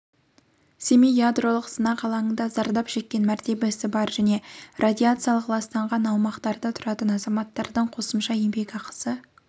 семей ядролық сынақ алаңында зардап шеккен мәртебесі бар және радиациялық ластанған аумақтарда тұратын азаматтардың қосымша еңбекақысы